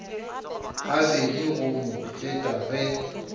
gabedi go mo feta ge